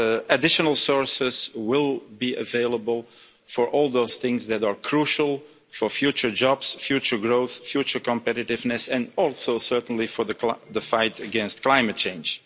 Additional resources will be available for all those things that are crucial for future jobs, future growth, future competitiveness and also, certainly for the fight against climate change.